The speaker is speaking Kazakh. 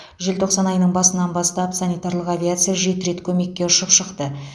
желтоқсан айының басынан бастап санитарлық авиация жеті рет көмекке ұшып шықты